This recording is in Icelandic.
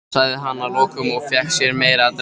sagði hann að lokum og fékk sér meira að drekka.